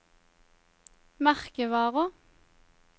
merkevarer